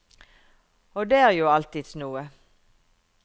Og det er jo alltids noe.